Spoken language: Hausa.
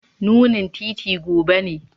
Nunin titi gobe ne.